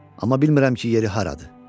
Amma bilmirəm ki, yeri haradır."